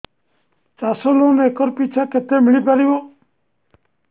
ଚାଷ loan acre ପିଛା କେତେ ମିଳି ପାରିବ